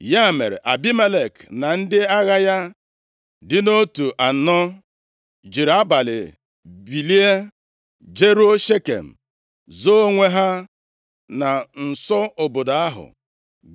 Ya mere, Abimelek na ndị agha ya dị nʼotu anọ, jiri abalị bilie jeruo Shekem zoo onwe ha na nso obodo ahụ.